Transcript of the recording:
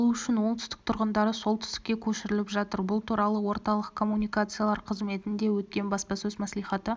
алу үшін оңтүстік тұрғындары солтүстікке көшіріліп жатыр бұл туралы орталық коммуникациялар қызметінде өткен баспасөз мәслихаты